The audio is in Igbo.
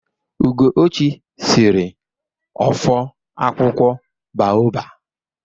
Ugochi sịrị ọfọ akwụkwọ baọba.